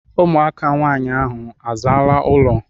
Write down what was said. Ụmụaka nwaanyị ahụ a zaala ụlọ?